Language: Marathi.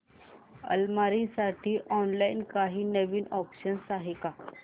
अलमारी साठी ऑनलाइन काही नवीन ऑप्शन्स आहेत का